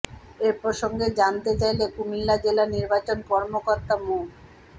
এ প্রসঙ্গে জানতে চাইলে কুমিল্লা জেলা নির্বাচন কর্মকর্তা মো